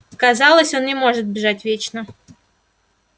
казалось он может бежать вечно